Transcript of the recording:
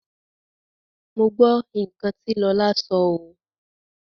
Mo gbọ́ nǹkan tí Lọlá sọ oo.